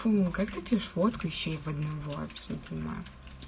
шум как такие фотки вещей поднимать все понимаю